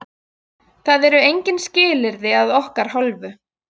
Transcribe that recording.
Það eru engin skilyrði að okkar hálfu.